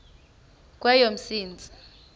kweyomsintsi